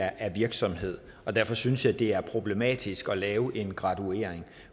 af en virksomhed og derfor synes jeg det er problematisk at lave en graduering